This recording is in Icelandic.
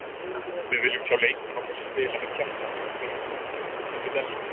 Við viljum sjá leikmenn okkar spila með hjartanu- fyrir klúbbinn sem við elskum.